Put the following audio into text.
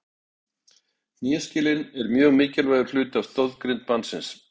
Hnéskelin er mjög mikilvægur hluti af stoðgrind mannsins.